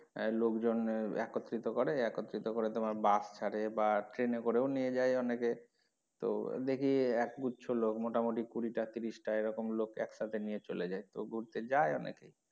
লোকজন একত্রিত করে একত্রিত করে তোমার bus ছাড়ে বা train এ করেও নিয়ে যায় অনেকে তো দেখি এক গুচ্ছ লোক মোটামটি কুড়ি টা তিরিশ টা এরকম লোক একসাথে নিয়ে চলে যায় তো ঘুরতে যায় অনেকে।